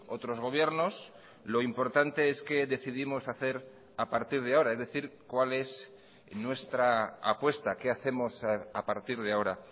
otros gobiernos lo importante es qué decidimos hacer a partir de ahora es decir cuál es nuestra apuesta qué hacemos a partir de ahora